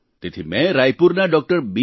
તેથી મેં રાયપુરના ડોક્ટર બી